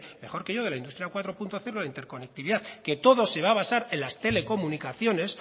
mejor que yo de la industria cuatro punto cero la interconectividad que todo se va a basar en las telecomunicaciones